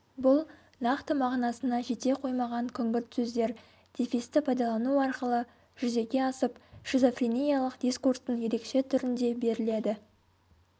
бұл нақты мағынасына жете қоймаған күңгірт сөздер дефисті пайдалану арқылы жүзеге асып шизофрениялық дискурстың ерекше түрінде беріледі